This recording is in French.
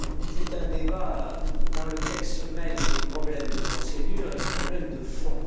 C'est un débat dans lequel se mêlent les problèmes de procédure et les problèmes de fond.